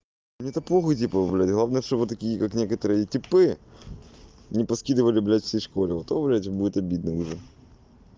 мне та похуй типа блядь главное чтобы такие как некоторые типы не поскидывали блядь всей школе вот то вроде будет обидно уже